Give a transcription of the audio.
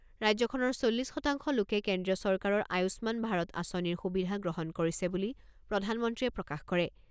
ৰাজ্যখনৰ চল্লিছ শতাংশ লোকে কেন্দ্ৰীয় চৰকাৰৰ আয়ুস্মান ভাৰত আঁচনিৰ সুবিধা গ্ৰহণ কৰিছে বুলি প্ৰধানমন্ত্ৰীয়ে প্ৰকাশ কৰে।